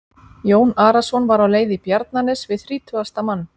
Jón Arason var á leið í Bjarnanes við þrítugasta mann.